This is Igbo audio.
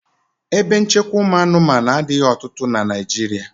Ebe nchekwa ụmụ anụmanụ adịghị ọtụtụ na Naịjirịa.